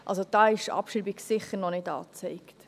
Also: Da ist die Abschreibung sicher noch nicht angezeigt.